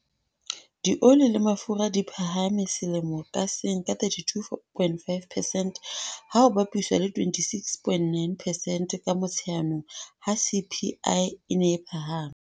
Dioli le mafura di phahame selemo ka seng ka 32.5 percent, ha ho bapiswa le 26.9 percent ka Motsheanong ha CPI e ne e phahama.